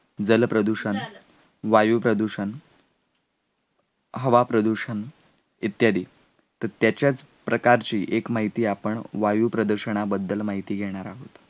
जलप्रदूषण, वायुप्रदूषण हवा, प्रदूषण इत्यादी तर त्याच्यात प्रकारची एक माहिती आपण वायु प्रदर्शनाबद्दल माहिती घेणार आहोत